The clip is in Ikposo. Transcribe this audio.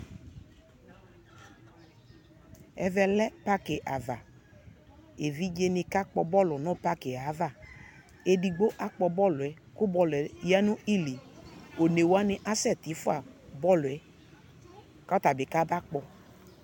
Ɛvɛ lɛ paki avaEvidze ne ka kpɔ bɔlu no paki avaEdigbo akpɔ bɔluɛ ko bɔluɛ ya no iliOne wane asɛ te fua bɔluɛ ka ata be ka ba kpɔ